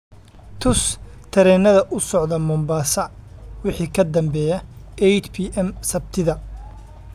tus tareenada u socda mombasa wixii ka dambeeya 8pm Sabtida